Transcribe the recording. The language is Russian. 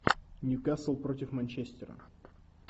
ньюкасл против манчестера